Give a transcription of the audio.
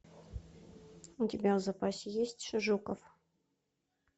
у тебя в запасе есть жуков